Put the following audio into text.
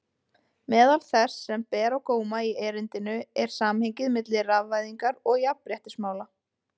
Meðal þess sem ber á góma í erindinu er samhengið milli rafvæðingar og jafnréttismála.